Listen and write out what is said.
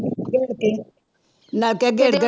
ਗੇੜ ਕੇ ਨਲਕੇ ਗੇੜ ਗੇੜ